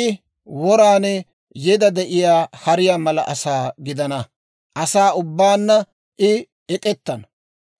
I woran yeda de'iyaa hariyaa mala asaa gidana; asaa ubbaanna I ek'ettana;